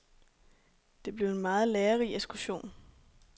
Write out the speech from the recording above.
Det blev en meget lærerig ekskursion.